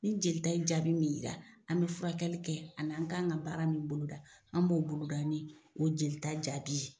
Ni jelita ye jaabi min yira an bɛ furakɛli kɛ, ani an k'an ka baara min boloda, an b'o boloda ni o jelita jaabi ye.